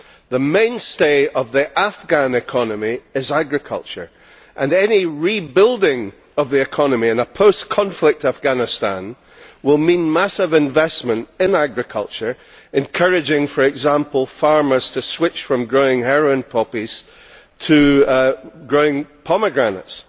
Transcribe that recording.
The mainstay of the Afghan economy is agriculture and any rebuilding of the economy in a post conflict Afghanistan will mean massive investment in agriculture, encouraging for example farmers to switch from growing heroin poppies to growing pomegranates.